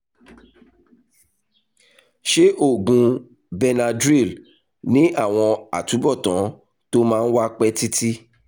ṣé oògùn benadryl ní àwọn àtúbọ̀tán tó máa ń wà pẹ́ títí?